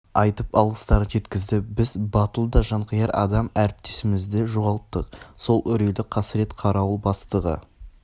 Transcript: айтып алғыстарын жеткізді біз батыл да жанқияр адам әріптесімізді жоғалттық сол үрейлі қасырет қарауыл бастығы